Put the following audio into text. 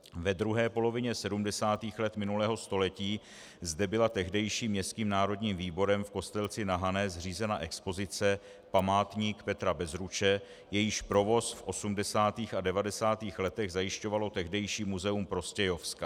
Ve druhé polovině 70. let minulého století zde byla tehdejším Městským národním výborem v Kostelci na Hané zřízena expozice Památník Petra Bezruče, jejíž provoz v 80. a 90. letech zajišťovalo tehdejší Muzeum Prostějovska.